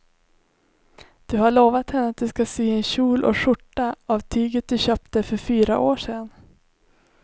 Du har lovat henne att du ska sy en kjol och skjorta av tyget du köpte för fyra år sedan.